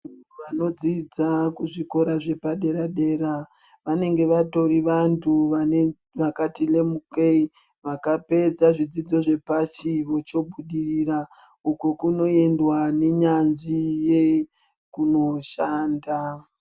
Vanodzidza kuzvikora zvepaderadera vanenge vatori vantu vakatilemukei vakapedza zvidzidzo zvepashi vochobudirira uko kunoendwa nenyadzviye kunoshanda.